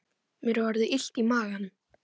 Mér er orðið illt í maganum